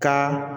Ka